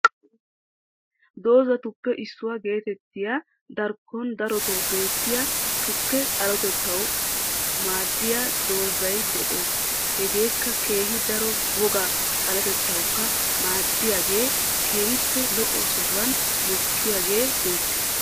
dozatuppe issuwa geetettiya darkon daroto beettiyaa tukke xaaletettawu maadiyaa dozay des hegekka kehi daro woga xaaletettawuka madiyagee kehippe lo7o sohuwan mokidagee beettees.